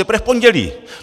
Teprve v pondělí.